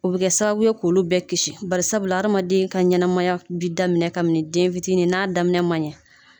O bi kɛ sababu ye kulu bɛɛ kisi bari sabula adamaden ka ɲɛnɛmaya bi daminɛ kabi den fitinin n'a daminɛ maɲɛ